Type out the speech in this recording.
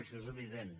això és evident